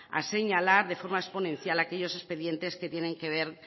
a señalar de forma exponencial aquellos expedientes que tienen que ver